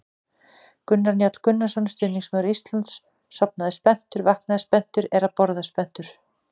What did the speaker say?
Gunnar Njáll Gunnarsson, stuðningsmaður Íslands: Sofnaði spenntur, vaknaði spenntur, er að borða spenntur!